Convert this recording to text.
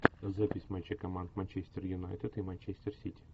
запись матча команд манчестер юнайтед и манчестер сити